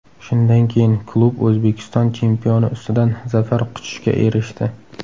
Shundan keyin klub O‘zbekiston chempioni ustidan zafar quchishga erishdi.